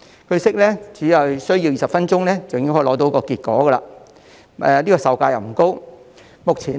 據悉，只需20分鐘便可以得到結果，而且售價不高。